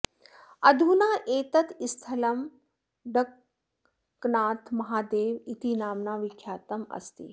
अधुना एतत् स्थलं डङ्कनाथमहादेव इति नाम्ना विख्यातम् अस्ति